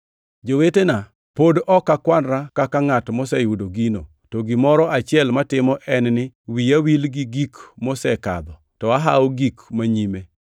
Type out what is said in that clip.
Jowetena, pod ok akwanra kaka ngʼat moseyudo gino, to gimoro achiel matimo en ni wiya wil gi gik mosekadho, to ahawo gik manyime,